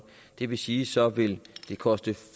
det vil sige så vil koste